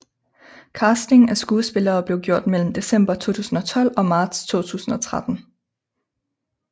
Casting af skuespillere blev gjort mellem december 2012 og marts 2013